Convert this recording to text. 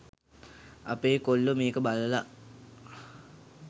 අපේ කොල්ලෝ මේක බලලා